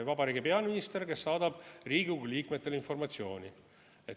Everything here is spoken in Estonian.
Vabariigi peaminister, kes saadab Riigikogu liikmetele informatsiooni.